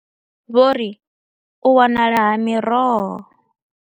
Vho ri, u wanala ha miroho.